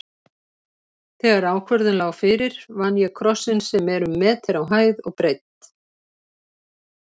Þegar ákvörðun lá fyrir vann ég krossinn sem er um meter á hæð og breidd.